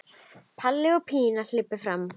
Palli og Pína hlaupa fram.